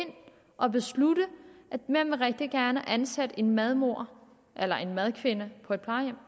og beslutte at man rigtig gerne vil ansætte en madmor eller en madkvinde på et plejehjem